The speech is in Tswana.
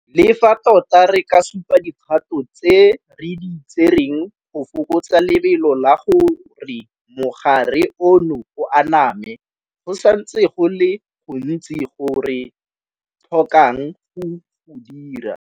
Le fa tota re ka supa dikgato tse re di tsereng go fokotsa lebelo la gore mogare ono o aname, go santse go le go gontsi go re tlhokang go go dira.